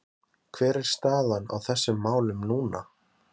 Hver er staðan á þessum málum núna?